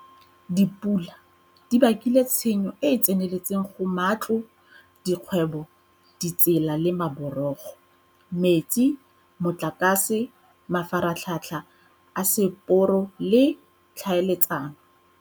Dipula di bakile tshenyo e e tseneletseng go matlo, dikgwebo, ditsela le maborogo, metsi, motlakase, mafaratlhatlha a seporo le a tlhaeletsano.